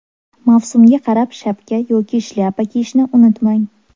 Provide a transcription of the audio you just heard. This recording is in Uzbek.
Mavsumga qarab shapka yoki shlyapa kiyishni unutmang.